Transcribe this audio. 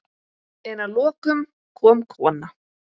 En að lokum kom kona.